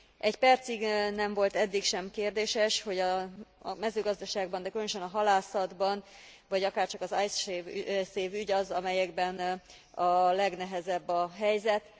Egy percig nem volt eddig sem kérdéses, hogy a mezőgazdaságban, de különösen a halászatban, vagy akárcsak az Icesave ügy az, amelyekben a legnehezebb a helyzet.